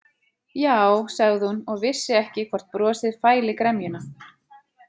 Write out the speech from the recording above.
Já, sagði hún og vissi ekki hvort brosið fæli gremjuna.